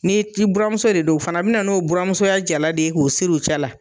Ni k'i buramuso de don, o fana bina n'o buramusoya jala de ye, k'o siri u cɛla